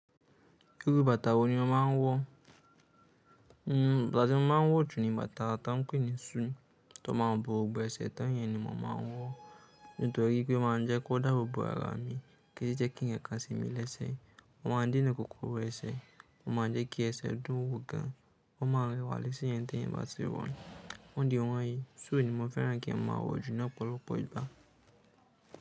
Irú bàtà wo ni o máa ń wọ̀? Bàtà tí mo máa ń wọ̀ jù ni bàtà tá ń pè ní shoe tó máa ń bo gbogbo ẹsẹ̀, tá ń yẹn ni mò ń máa ń wọ̀. Nítorí pé o máa ń jẹ́ kó dàbò bo ara mi kì í jẹ́ kí ǹkankan semi lẹ́sẹ̀. Wọn máa ń dènà kòkòrò ẹsẹ̀. Wọn máa ń jẹ́ kí ẹsẹ̀ dùn ún wò gan. Wọn máa ń rẹwà lẹ́sẹ̀ yẹn tee yan bá ti wọ. Ó di ọ̀wọ́n yìí, shoe ni mo fẹ́ràn kín máa wọ̀ jù ni ọpọ̀lọpọ̀ igbá.